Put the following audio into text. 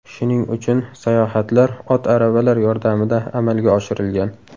Shuning uchun sayohatlar ot aravalar yordamida amalga oshirilgan.